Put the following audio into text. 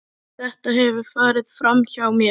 Þetta hefur farið framhjá mér!